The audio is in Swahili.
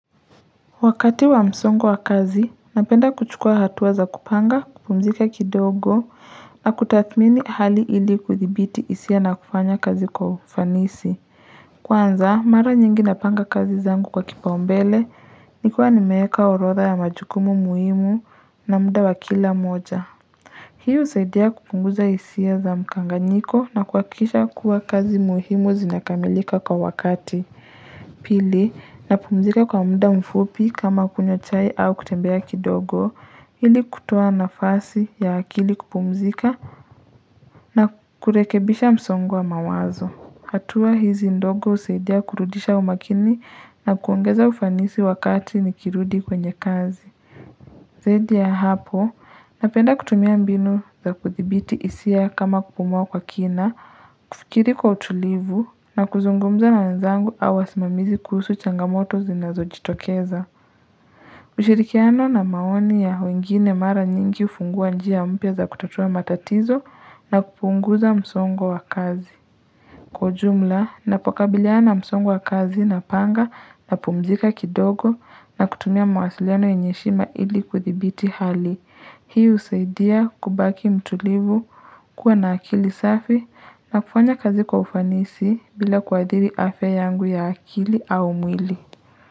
Wakati wa msongo wa kazi, napenda kuchukua hatua za kupanga, kupumzika kidogo, na kutathmini hali ili kuthibiti hisia na kufanya kazi kwa ufanisi. Kwanza, mara nyingi napanga kazi zangu kwa kipaumbele, nikiwa nimeeka orodha ya majukumu muhimu na muda wa kila moja. Hiu husaidia kupunguza hisia za mkanganyiko na kuhakikisha kuwa kazi muhimu zinakamilika kwa wakati. Pili, napumzika kwa muda mfupi kama kunywa chai au kutembea kidogo ili kutoa nafasi ya akili kupumzika na kurekebisha msongo wa mawazo. Hatua hizi ndogo husaidia kurudisha umakini na kuongeza ufanisi wakati nikirudi kwenye kazi. Zaidi ya hapo, napenda kutumia mbinu za kuthibiti hisia kama kupumua kwa kina, kufikiri kwa utulivu na kuzungumza na wenzangu au wasimamizi kuhusu changamoto zinazojitokeza. Ushirikiano na maoni ya wengine mara nyingi hufungua njia mpya za kutotua matatizo na kupunguza msongo wa kazi. Kwa ujumla, napokabiliana msongo wa kazi napanga, napumzika kidogo na kutumia mawasiliano yenye heshima ili kuthibiti hali. Hii husaidia kubaki mtulivu kuwa na akili safi na kufanya kazi kwa ufanisi bila kuadhiri afya yangu ya akili au mwili.